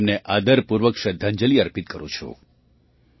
હું તેમને આદરપૂર્વક શ્રદ્ધાંજલિ અર્પિત કરું છું